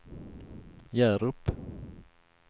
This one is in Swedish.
Hjärup